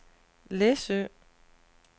Læsø